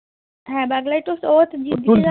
হ্যান Burglary tools তো ও